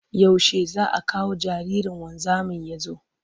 Yaushe za a kawo jaririn wanzamin ya zo?